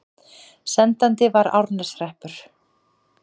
Sendandi var Árneshreppur.